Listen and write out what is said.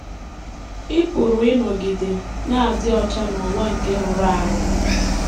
Ị Pụrụ Ịnọgide Na - adị Ọcha n’Ụwa Nke Rụrụ Arụ